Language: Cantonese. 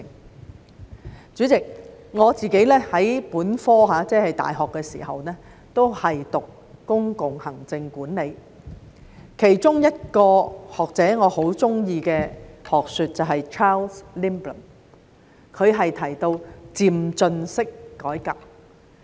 代理主席，我在大學時修讀的本科也是公共行政管理，我很喜歡其中一個學者的學說，也就是 Charles LINDBLOM 提到的漸進式改革。